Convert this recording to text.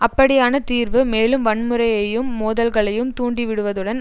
அப்படியான தீர்வு மேலும் வன்முறையையும் மோதல்களையும் தூண்டிவிடுவதுடன்